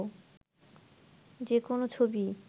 যে কোনো ছবিই